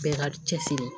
Bɛɛ ka cɛsiri